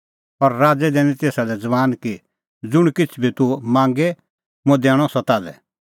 और राज़ै दैनअ तेसा लै बैण कि ज़ुंण किछ़ बी तूह मांगे मुंह दैणअ सह ताल्है